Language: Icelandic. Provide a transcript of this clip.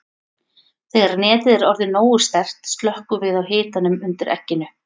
Þegar netið er orðið nógu sterkt slökkvum við á hitanum undir egginu.